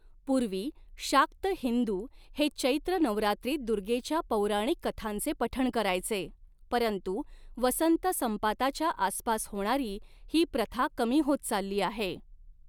पूर्वी, शाक्त हिंदू हे चैत्र नवरात्रीत दुर्गेच्या पौराणिक कथांचे पठण करायचे, परंतु वसंत संपाताच्या आसपास होणारी ही प्रथा कमी होत चालली आहे.